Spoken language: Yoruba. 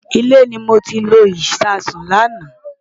Ilé ni mo ti lo Ìṣasùn lánàá.